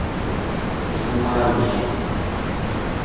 джуманджи